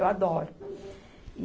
Eu adoro.